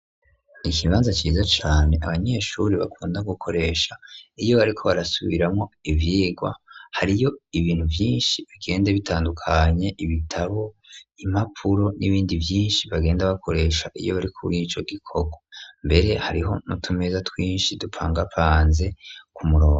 Ikibanza ciza cane abanyeshuri bakunda gukoresha iyo bariko barasubiramwo ivyigwa hariyo ibintu vyinshi bigende bitandukanye ibitabo imapuro n'ibindi vyinshi bagenda bakoresha iyo bari kuri ico gikorwa mbere hariho nutumeza twinshi dupangapanze ku muronga.